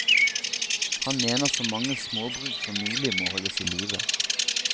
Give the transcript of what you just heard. Han mener så mange småbruk som mulig må holdes i live.